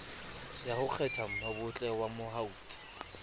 ya ho kgethammabotle wa mautse